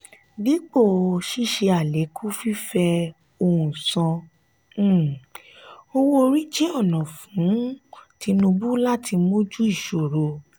dípò sise alekun fífẹ òhun san um owó-orí jẹ ọnà mí fún tinubu láti mójú ìṣòro.